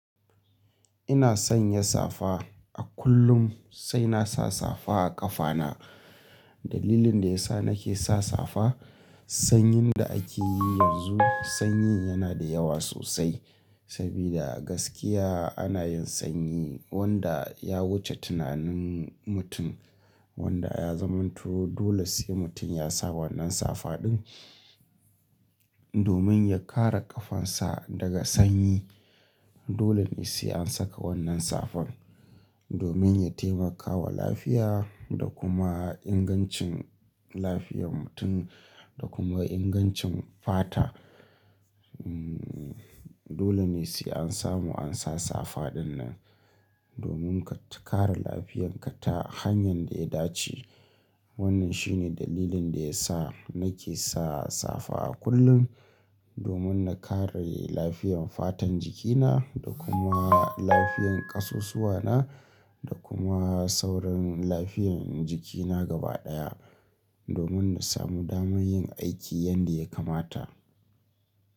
Ina sanya safa a kullum sai nasa safa a ƙafana. Dalilin da ya sa nake sa safa, sanyin da ake yi yanzu, sanyin yana da yawa sosai saboda gaskiya ana yin sanyi wanda ya wuce tunanin mutum wanda ya zamantu. Dole sai mutum ya sa wannan safa ɗin domin ya kare ƙafansa daga sanyi. Dole ne sai an saka wannan safan domin ya taimakawa lafiya da kuma ingancin lafiyar mutum da kuma ingancin fata. Hmm, dole ne sai an samu an sa safa ɗin nan, domin ka kare lafiyarka ta hanyar da ya dace. Wannan shi ne dalilin da ya sa nake sa safa a kullum domin na kare lafiyar fatan jikina da kuma lafiyar ƙasusuwana da kuma sauran lafiyar jikina gaba ɗaya domin na samu damar yin aiki yadda ya kamata.